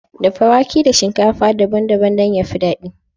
Dafa wake da shinkafa daban-daban ya fi daɗi.